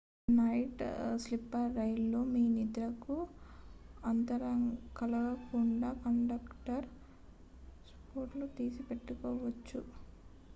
night sleeper రైళ్ళలో మీ నిద్రకు అంతరాయం కలగకుండా కండక్టర్ పాస్పోర్ట్లను తీసి పెట్టుకోవచ్చు